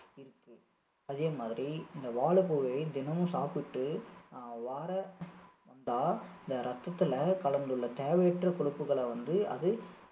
இருக்கு. அதே மாதிரி இந்த வாழைப்பூவை தினமும் சாப்பிட்டு அஹ் வார~ வந்தா இந்த ரத்தத்துல கலந்துள்ள தேவையற்ற கொழுப்புகளை வந்து அது